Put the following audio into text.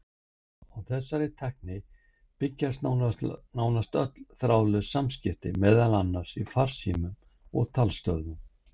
Á þessari tækni byggja nánast öll þráðlaus samskipti, meðal annars í farsímum og talstöðvum.